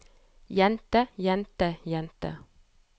jente jente jente